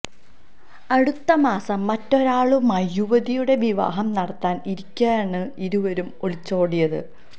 അടുത്ത മാസം മറ്റൊരാളുമായി യുവതിയുടെ വിവാഹം നടത്താൻ ഇരിക്കെയാണ് ഇരുവരും ഒളിച്ചോടിയത്